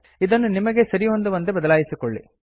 ಇದನ್ನು ನಿಮಗೆ ಸರಿಹೊಂದುವಂತೆ ಬದಲಾಯಿಸಿಕೊಳ್ಳಿ